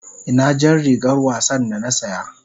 Ina jar rigar wasa da na saya?